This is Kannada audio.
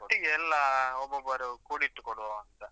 ಒಟ್ಟಿಗೆ ಎಲ್ಲಾ ಆ ಒಬ್ಬೊಬರು ಕೂಡಿಟ್ಟು ಕೊಡುವವಾ ಅಂತ.